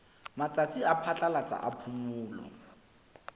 matsatsi a phatlalatsa a phomolo